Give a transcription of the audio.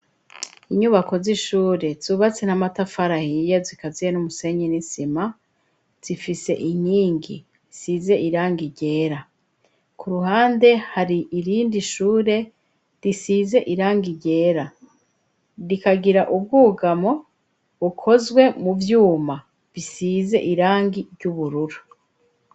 Inyubako z'ishure zubatse n'amatafarahiya zikaziye n'umusenye n'isima zifise inyingi size iranga igera ku ruhande hari irindi ishure risize iranga igera rikagira ubwugamo ukozwe mu vyuma isi zize irangi ry'uburura.